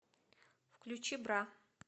включи бра